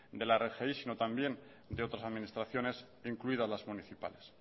de la rgi sino también de otras administraciones incluidas las municipales